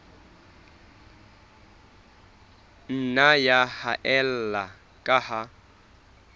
nna ya haella ka ha